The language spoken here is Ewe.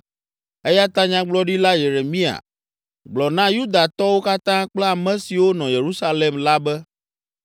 Eya ta nyagblɔɖila Yeremia, gblɔ na Yudatɔwo katã kple ame siwo nɔ Yerusalem la be: